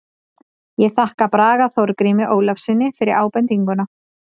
Ég þakka Braga Þorgrími Ólafssyni fyrir ábendinguna.